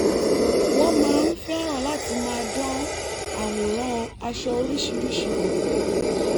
wọ́n máa ń fẹ́ràn láti máa dán àwòrán aṣọ oríṣiríṣi wò